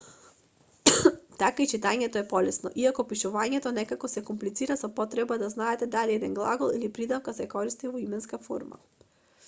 така и читањето е полесно иако пишувањето некако се комплицира со потребата да знаете дали еден глагол или придавка се користи во именска форма